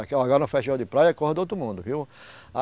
no festival de praia, é coisa de outro mundo, viu?